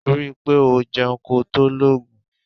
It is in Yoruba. Ri i pe o jeun ko to logun.